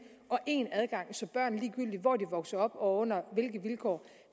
og én adgang så børn ligegyldigt hvor de vokser op og under hvilke vilkår